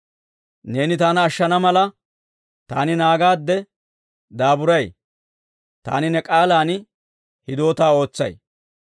Neeni taana ashshana mala, taani naagaadde daaburay; taani ne k'aalan hidootaa ootsay.